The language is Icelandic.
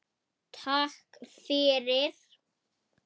Takk fyrir